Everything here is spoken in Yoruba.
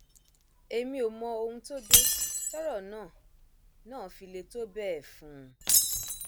èmi ò mọ ohun tó dé tọrọ náà náà fi le tó bẹẹ fún un